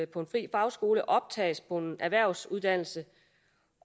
på en fri fagskole optages på en erhvervsuddannelse